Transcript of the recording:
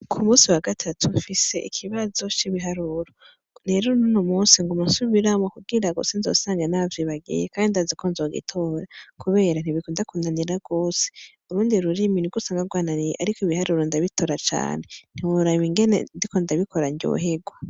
Ku munsi wa gatatu nfise ikibazo ci biharuro rero nuno munsi nguma nsubiramwo kugirango nsinzosange navyibagiye kandi ndazi ko nzobitora kubera ntibikunda kunanira rwose urundi rurimi nirwo usanga rwananiye ariko ibiharuro ndabitor cane ntiworaba ingene ndiko ndabikora ryoherwa.